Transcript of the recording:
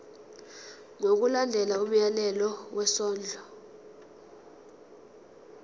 ngokulandela umyalelo wesondlo